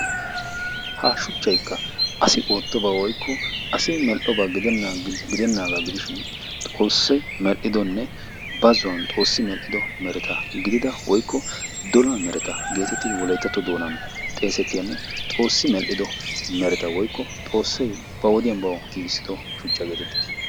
ha shuchchaykka asai medhidoba woykko asi medhidoogaa gidenaaga gidishin, xoosi medho mereta gidida dola mereta qassi xoossi ba wodiya medhido mereta.